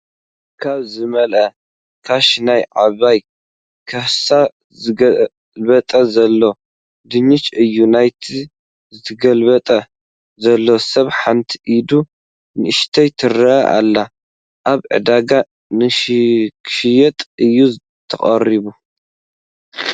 ካብ ዝመልኣ ካሻ ናብ ዓብይ ከሳ ዝግልበጥ ዘሎ ድንሽ እዩ፡ናይቲ ዝግልብጥ ዘሎ ሰብ ሓንቲ ኢዱ ንኡሽተይ ትረኣይ ኣላ ኣብ ዕዳጋ ንኽሽየጥ እዩ ተቐሪቡ ።